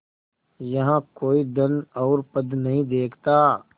यहाँ कोई धन और पद नहीं देखता